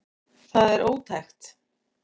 Það er ótækt